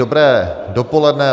Dobré dopoledne.